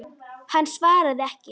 Hann svaraði ekki.